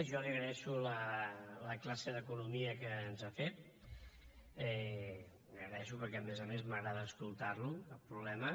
jo li agraeixo la classe d’economia que ens ha fet la hi agraeixo perquè a més a més m’agrada escoltar lo cap problema